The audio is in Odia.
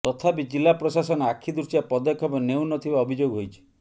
ତଥାପି ଜିଲ୍ଲା ପ୍ରଶାସନ ଆଖି ଦୃଶିଆ ପଦକ୍ଷେପ ନେଉନଥିବା ଅଭିଯୋଗ ହୋଇଛି